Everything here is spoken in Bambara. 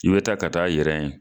I be taa ka t'a yɛrɛ ye